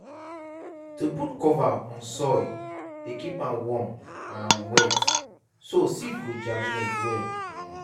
to put cover on soil dey keep am warm and wet so seed go germinate well. um